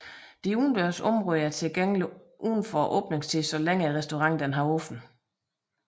De udendørs områder er tilgængelige uden for åbningstiden så længe restauranten er åben